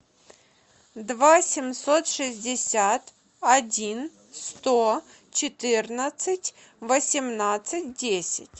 два семьсот шестьдесят один сто четырнадцать восемнадцать десять